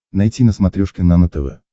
найти на смотрешке нано тв